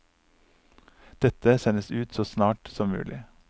Dette sendes ut så snart som mulig.